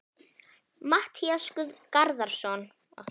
Matthías Garðarsson: Hvað er stóriðja og hvað er ekki stóriðja?